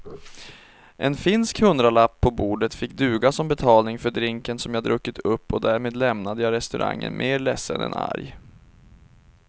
En finsk hundralapp på bordet fick duga som betalning för drinken som jag druckit upp och därmed lämnade jag restaurangen mer ledsen än arg.